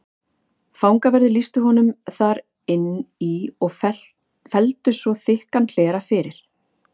Fangaverðir lýstu honum þar inn í og felldu svo þykkan hlera fyrir.